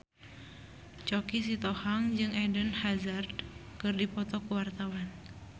Choky Sitohang jeung Eden Hazard keur dipoto ku wartawan